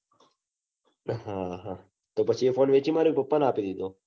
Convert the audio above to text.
હા હા તો એ phone વેચી માર્યો. કે પપ્પા ને આપ્યો